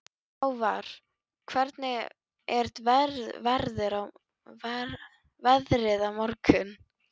Hávarr, hvernig er veðrið á morgun?